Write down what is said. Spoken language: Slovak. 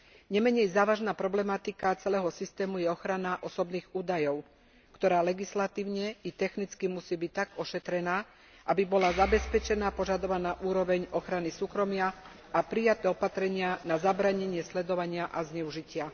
Nemenej závažná problematika celého systému je ochrana osobných údajov, ktorá legislatívne itechnicky musí byť tak ošetrená, aby bola zabezpečená požadovaná úroveň ochrany súkromia aprijaté opatrenia na zabránenie sledovania azneužitia.